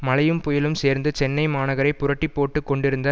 மழையும் புயலும் சேர்ந்து சென்னை மகாநகரை புரட்டி போட்டு கொண்டிருந்த